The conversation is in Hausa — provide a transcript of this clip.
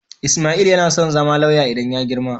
Ismail yana son zama lauya idan ya girma.